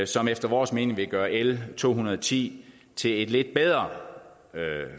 som efter vores mening vil gøre l to hundrede og ti til et lidt bedre